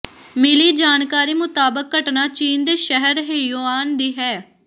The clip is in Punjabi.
ਮਿਲੀ ਜਾਣਕਾਰੀ ਮੁਤਾਬਕ ਘਟਨਾ ਚੀਨ ਦੇ ਸ਼ਹਿਰ ਹੇਯੂਆਨ ਦੀ ਹੈ